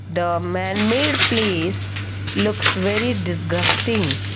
the man made place looks very disgusting.